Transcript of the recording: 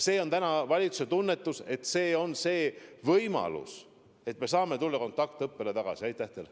Ja valitsuse tunnetuse kohaselt annab see abinõu võimaluse kiiremini kontaktõppele tagasi tulla.